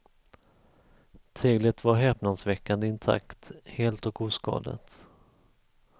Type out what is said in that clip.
Teglet var häpnadsväckande intakt, helt och oskadat.